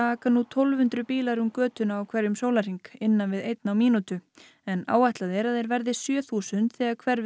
aka nú tólf hundruð bílar um götuna á hverjum sólarhring innan við einn á mínútu en áætlað er að þeir verði sjö þúsund þegar hverfið